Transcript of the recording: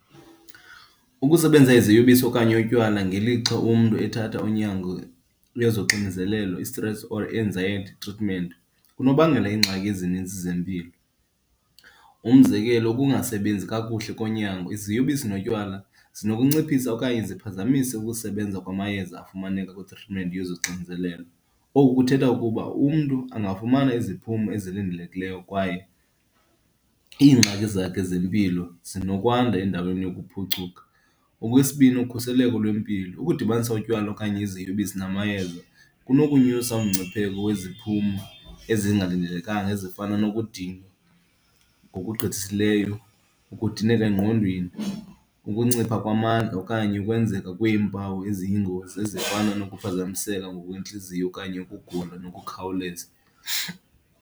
Ukusebenzisa iziyobisi okanye wotywala ngelixa umntu ethatha unyango lwezoxinezelelo i-sitress or anxiety treatment kunobangela iingxaki ezininzi zempilo. Umzekelo, ukungasebenzi kakuhle konyango, iziyobisi notywala zinokunciphisa okanye ziphazamise ukusebenza kwamayeza afumaneka kwi-treatment yezoxinzelelo. Oku kuthetha ukuba umntu angafumana iziphumo ezilindelekileyo kwaye iingxaki zakhe zempilo zinokwanda endaweni lokuphucuka. Okwesibini, ukhuseleko lwempilo. Ukudibanisa utywala okanye iziyobisi namayeza kunokunyusa umngcipheko weziphumo ezingalindelekanga ezifana nokudinwa ngokugqithisileyo, ukudineka engqondweni, ukuncipha kwamandla okanye ukwenzeka kweempawu eziyingozi ezifana nokuphazamiseka ngokwentliziyo okanye ukugula ngokukhawuleza.